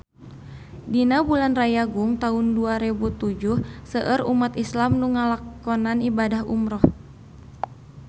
Dina bulan Rayagung taun dua rebu tujuh seueur umat islam nu ngalakonan ibadah umrah